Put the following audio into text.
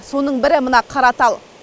соның бірі мына қаратал